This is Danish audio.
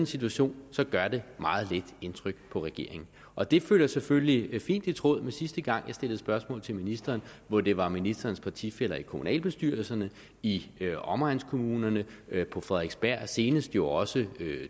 situation gør det meget lidt indtryk på regeringen og det falder selvfølgelig fint i tråd med sidste gang jeg stillede spørgsmål til ministeren hvor det var ministerens partifæller i kommunalbestyrelserne i omegnskommunerne på frederiksberg og senest jo også